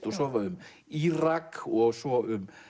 og svo um Írak og svo um